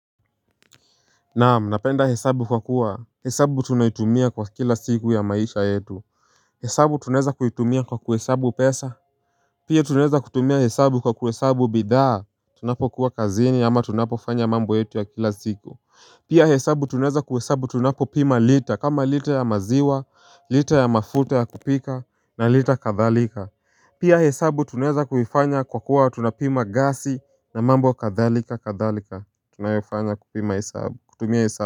Naam napenda hesabu kwa kuwa hesabu tunaitumia kwa kila siku ya maisha yetu hesabu tuneza kuitumia kwa kuhesabu pesa Pia tunaeza kutumia hesabu kwa kuhesabu bidhaa Tunapo kuwa kazini ama tunapo fanya mambo yetu ya kila siku Pia hesabu tuneza kuhesabu tunapo pima lita kama lita ya maziwa, lita ya mafuta ya kupika na lita kadhalika Pia hesabu tuneza kuifanya kwa kuwa tunapima gasi na mambo kadhalika kadhalika Tunayofanya kutumia hesabu.